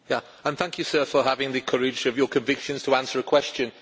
And thank you, sir, for having the courage of your convictions to answer a question.